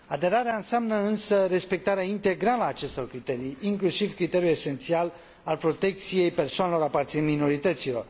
Aderarea înseamnă însă respectarea integrală a acestor criterii, inclusiv criteriul esențial al protecției persoanelor aparținând minorităților.